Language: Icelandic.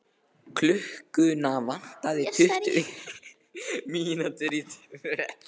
Klukkuna vantaði tuttugu mínútur í tvö.